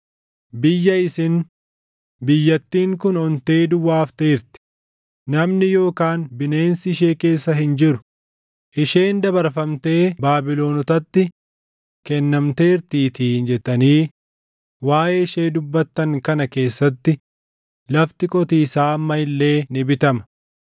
Biyya isin, ‘Biyyattiin kun ontee duwwaa hafteerti; namni yookaan bineensi ishee keessa hin jiru; isheen dabarfamtee Baabilonotatti kennamteertiitii’ jettanii waaʼee ishee dubbattan kana keessatti lafti qotiisaa amma illee ni bitama.